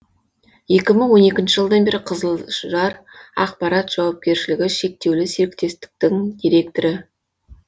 екі мың он екінші жылдан бері қызылжар ақпарат жауапкершілігі шектеулі серіктестіктің директоры